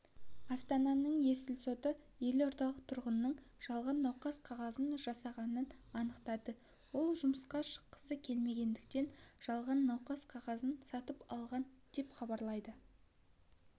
астананың есіл соты елордалық тұрғынның жалған науқас қағазын жасағанын анықтады ол жұмысқа шыққысы келмегендіктен жалған науқас қағазын сатып алған деп хабарлайды